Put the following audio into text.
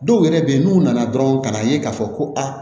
Dɔw yɛrɛ bɛ yen n'u nana dɔrɔn ka n'a ye k'a fɔ ko aa